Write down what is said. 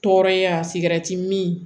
Tɔɔrɔya sigɛrɛti min